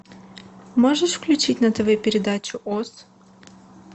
можешь включить на тв передачу оз